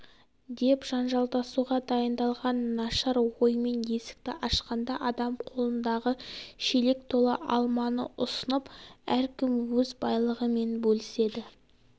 деп жанжалдасуға дайындалған нашар оймен есікті ашқанда адам қолындағы шелек толы алманы ұсынып әркім өз байлығымен бөліседі